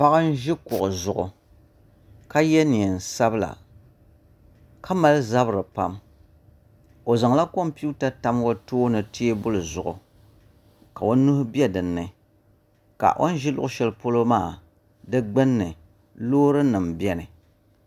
Paɣa n ʒi kuɣu zuɣu ka yɛ neen sabila ka mali zabiri pam o zaŋla kompiuta tam o tooni teebuli zuɣu ka o nuhi bɛ dinni ka o ni ʒi luɣu shɛli polo maa di gbunni loori nim biɛni